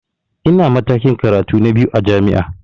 Ina matakin karatu na biyu a jami'a